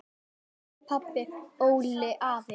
Elsku pabbi, Olli, afi.